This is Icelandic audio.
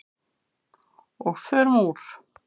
Og förum úr.